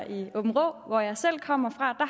i aabenraa hvor jeg selv kommer fra